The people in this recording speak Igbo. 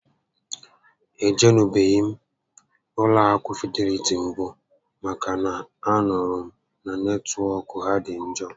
E jenubeghị m ụlọ akụ Fideliti mbụ maka na a nụrụ m na netwọk ha dị njọ